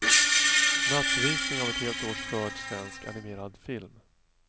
Nattvisning av ett helt års skörd svensk animerad film.